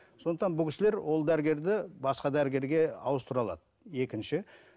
сондықтан бұл кісілер ол дәрігерді басқа дәрігерге ауыстыра алады екінші